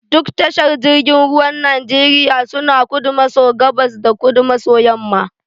Duk tashar jirgin ruwan Najeriya suna kudu maso gabas da kudu maso yamma.